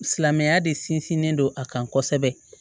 Silamɛya de sinsinlen don a kan kosɛbɛ